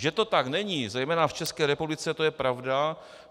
Že to tak není zejména v České republice, to je pravda.